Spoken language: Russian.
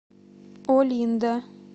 олинда